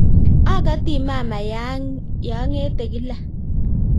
Akati mama yaangete kila.